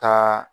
Taa